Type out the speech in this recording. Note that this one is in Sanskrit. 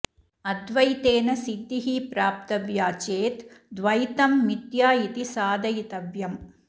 अद्वैतेन सिद्धिः प्राप्तव्या चेत् द्वैतं मिथ्या इति साधयितव्यम्